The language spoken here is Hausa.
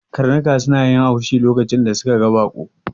Karnuka suna yin haushi lokacin da suka ga baƙo